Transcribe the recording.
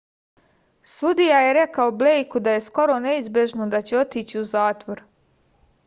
sudija je rekao blejku da je skoro neizbežno da će otići u zatvor